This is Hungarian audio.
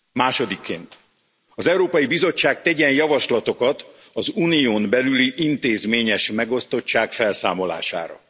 Másodikként az Európai Bizottság tegyen javaslatokat az Unión belüli intézményes megosztottság felszámolására.